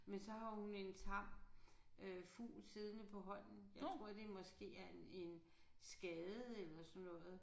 Men så har hun en tam øh fugl siddende på hånden jeg tror det måske er en en skade eller sådan noget